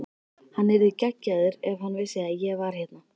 Hann yrði geggjaður ef hann vissi að ég var hérna.